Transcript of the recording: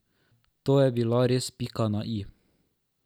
To je bila res pika na i.